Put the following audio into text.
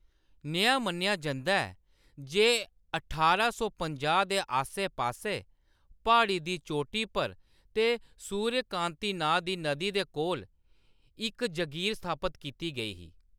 नेहा मन्नेआ जंदा ऐ जे ठारां सौ पंजाह् दे आस्सै-पास्सै, प्हाड़ी दी चोटी पर ते सूर्यकांति नांऽ दी नदी दे कोल इक जगीर स्थापत कीती गेई ही।